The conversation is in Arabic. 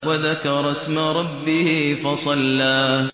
وَذَكَرَ اسْمَ رَبِّهِ فَصَلَّىٰ